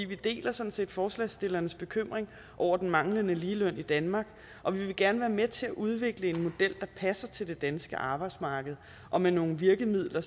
vi deler sådan set forslagsstillernes bekymring over den manglende ligeløn i danmark og vi vil gerne være med til udvikle en model der passer til det danske arbejdsmarked og med nogle virkemidler